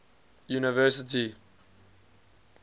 university